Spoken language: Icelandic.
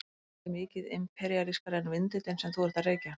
Ætli hann sé mikið imperíalískari en vindillinn sem þú ert að reykja?